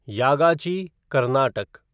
Yagachi Karnataka